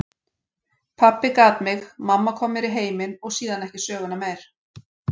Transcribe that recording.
Pabbi gat mig, mamma kom mér í heiminn, og síðan ekki söguna meir.